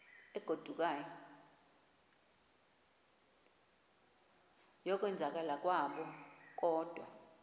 yokwenzakala kwabo kodwa